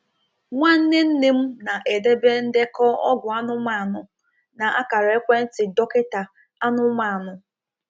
Nwanne nne m na-edebe ndekọ ọgwụ anụmanụ na akara ekwentị dọkịta anụmanụ.